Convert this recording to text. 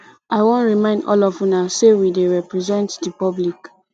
i wan remind all of una say we dey represent the public